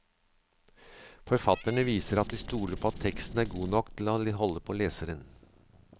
Forfatterne viser at de stoler på at teksten er god nok til å holde på leseren.